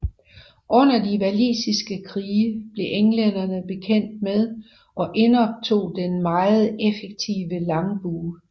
Under de walisiske krige blev englænderne bekendt med og indoptog den meget effektive langbue